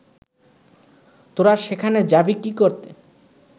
তোরা সেখানে যাবি কি করতে